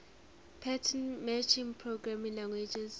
pattern matching programming languages